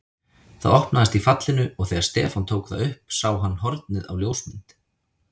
Það opnaðist í fallinu og þegar Stefán tók það upp sá hann hornið á ljósmynd.